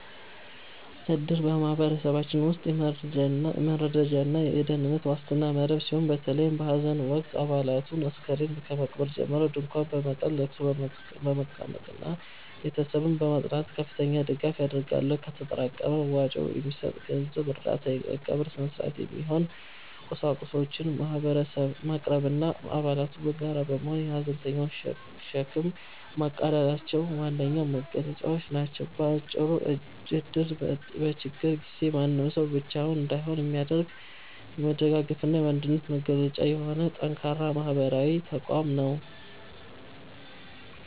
እድር በማኅበረሰባችን ውስጥ የመረዳጃና የደኅንነት ዋስትና መረብ ሲሆን፤ በተለይም በሐዘን ወቅት አባላቱ አስከሬን ከመቅበር ጀምሮ ድንኳን በመጣል፣ ለቅሶ በመቀመጥና ቤተሰብን በማጽናናት ከፍተኛ ድጋፍ ያደርጋሉ። ከተጠራቀመ መዋጮ የሚሰጥ የገንዘብ እርዳታ፣ ለቀብር ሥነ-ሥርዓት የሚሆኑ ቁሳቁሶችን ማቅረብና አባላቱ በጋራ በመሆን የሐዘንተኛውን ሸክም ማቃለላቸው ዋነኛ መገለጫዎቹ ናቸው። ባጭሩ እድር በችግር ጊዜ ማንም ሰው ብቻውን እንዳይሆን የሚያደርግ፣ የመደጋገፍና የአንድነት መገለጫ የሆነ ጠንካራ ማኅበራዊ ተቋም ነው።